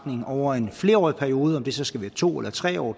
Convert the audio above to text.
over en flerårig periode om det så skal være to eller tre år